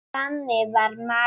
Þannig var María.